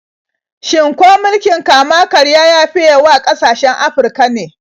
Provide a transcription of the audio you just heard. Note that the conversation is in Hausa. Shin ko mulkin kama-karya ya fiye wa ƙasashen Afirka ne?